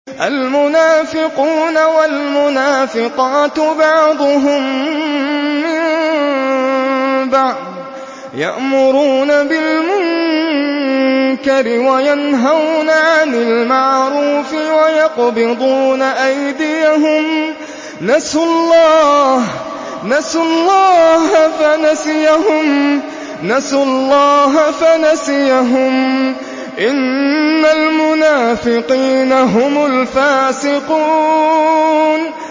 الْمُنَافِقُونَ وَالْمُنَافِقَاتُ بَعْضُهُم مِّن بَعْضٍ ۚ يَأْمُرُونَ بِالْمُنكَرِ وَيَنْهَوْنَ عَنِ الْمَعْرُوفِ وَيَقْبِضُونَ أَيْدِيَهُمْ ۚ نَسُوا اللَّهَ فَنَسِيَهُمْ ۗ إِنَّ الْمُنَافِقِينَ هُمُ الْفَاسِقُونَ